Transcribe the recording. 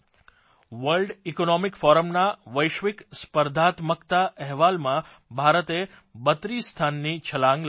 world economic ફોરમના વૈશ્વિક સ્પર્ધાત્મકતા અહેવાલમાં ભારતે 32 સ્થાનની છલાંગ લગાવી છે